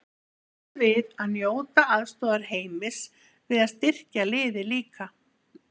Býstu við að njóta aðstoðar Heimis við að styrkja liðið líka?